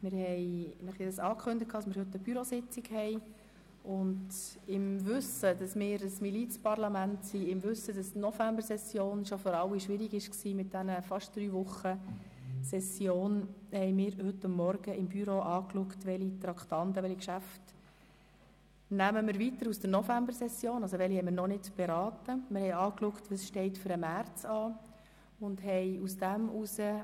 Im Wissen darum, dass wir ein Milizparlament sind und die Novembersession mit drei Wochen schon für alle schwierig gewesen ist, haben wir heute Morgen geschaut, welche Traktanden wir noch nicht beraten haben und welche für die Märzsession anstehen.